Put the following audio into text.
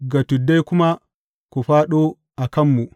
Ga tuddai kuma, Ku fāɗo a kanmu!